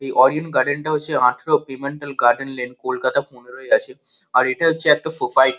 এই Orion garden -টা হচ্ছে আঠেরো পেমেন্টাল গার্ডেন লেন কলকাতা পনেরোয় আছে আর এটা হচ্ছে একটা সোসাইট ।